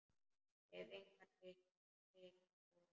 Hef engan hitt og.